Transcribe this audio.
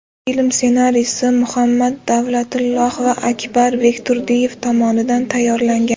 Film ssenariysi Muhammad Davlatilloh va Akbar Bekturdiyev tomonidan tayyorlangan.